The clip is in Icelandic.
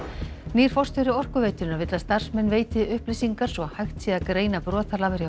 nýr forstjóri Orkuveitunnar vill að starfsmenn veiti upplýsingar svo hægt sé að greina brotalamir